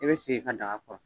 I bɛ sigi i ka daga kɔrɔ.